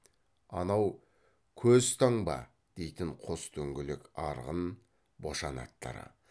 анау көз таңба дейтін қос дөңгелек арғын бошан аттары